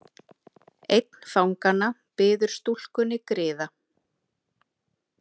Einn fanganna biður stúlkunni griða.